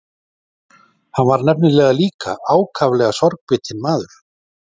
Hann var nefnilega líka ákaflega sorgbitinn maður.